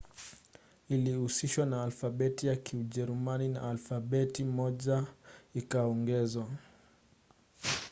ilihusishwa na alfabeti ya kijerumani na alfabeti moja õ/õ ikaongezwa